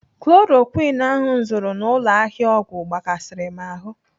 Chloroquine ahụ m zụrụ n'ụlọ ahịa ọgwụ gbakasịrị m ahụ.